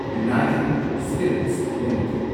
united spirits limited